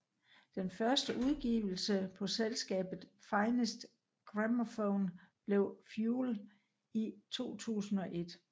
Den første udgivelse på selskabet Finest Gramophone blev Fuel i 2001